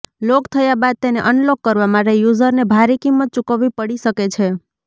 લોક થયા બાદ તેને અન લોક કરવા માટે યુઝરને ભારી કિંમત ચૂકવવી પડી શકે છે